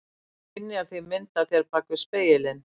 Þú skynjar því mynd af þér bak við spegilinn.